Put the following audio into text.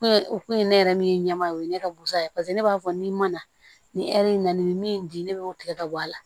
Ku o kun ye ne yɛrɛ min ye ɲɛma o ye ne ka busan ye paseke ne b'a fɔ n'i ma na ni hɛrɛ ye na ni min di ne bɛ o tigɛ ka bɔ a la